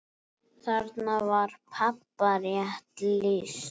Þarna var pabba rétt lýst.